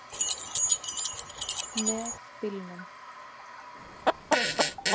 Með bílnum.